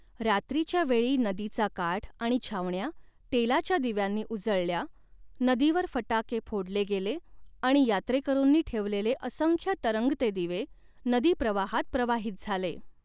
रात्रीच्या वेळी नदीचा काठ आणि छावण्या तेलाच्या दिव्यांनी उजळल्या, नदीवर फटाके फोडले गेले आणि यात्रेकरूंनी ठेवलेले असंख्य तरंगते दिवे नदी प्रवाहात प्रवाहित झाले.